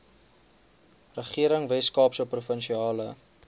regering weskaapse provinsiale